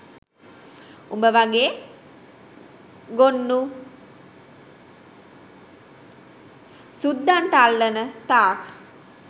උඹ වගේ ගොන්නු සුද්දන්ට අල්ලන තාක්